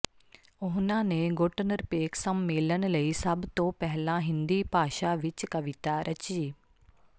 ਉਨ੍ਹਾਂ ਨੇ ਗੁੱਟ ਨਿਰਪੇਖ ਸੰਮੇਲਨ ਲਈ ਸਭ ਤੋਂ ਪਹਿਲਾਂ ਹਿੰਦੀ ਭਾਸ਼ਾ ਵਿਚ ਕਵਿਤਾ ਰਚੀ